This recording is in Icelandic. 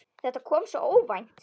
Þetta kom svo óvænt.